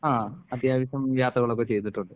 ആഹ് അത്യാവശ്യം യാത്രകളൊക്കെ ചെയ്തട്ടുണ്ട്.